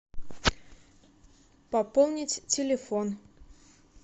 пополнить телефон